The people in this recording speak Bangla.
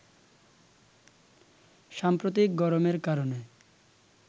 সাম্প্রতিক গরমের কারণে